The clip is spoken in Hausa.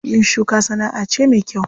Yin shuka sana'a ce me kyau.